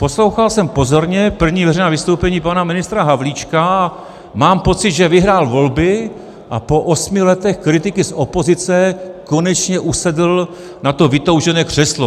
Poslouchal jsem pozorně první veřejná vystoupení pana ministra Havlíčka a mám pocit, že vyhrál volby a po osmi letech kritiky z opozice konečně usedl na to vytoužené křeslo.